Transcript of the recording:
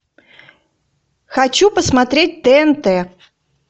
хочу посмотреть тнт